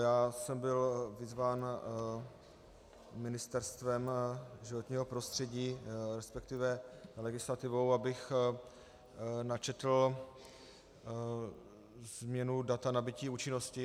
Já jsem byl vyzván Ministerstvem životního prostředí, respektive legislativou, abych načetl změnu data nabytí účinnosti.